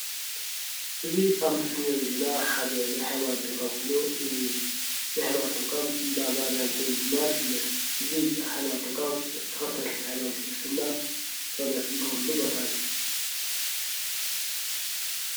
እዚ ኣብ ምስሊ ንሪኦ ዘለና ሓደ ናይ ሃይማኖት ተቋም ኮይኑ እዚ ናይ ሃይማኖት ተቋም እንዳማርያም ፅዮን ብምባል ይፍለጥ። እዚ ናይ ሃይማኖት ተቋም ተከተልቲ ሃይማኖት ክርስትና ፀሎት ዝገብርሉ ቦታ እዩ።